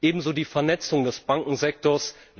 Ebenso die Vernetzung des Bankensektors.